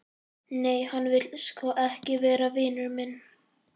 Nei, hann vill sko ekki vera vinur minn.